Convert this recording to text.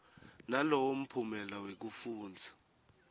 nalowo mphumela wekufundza